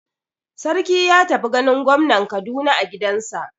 Sarki ya tafi ganin gwamnan Kaduna a gidansa.